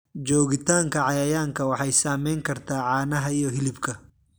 Joogitaanka cayayaanka waxay saameyn kartaa caanaha iyo hilibka.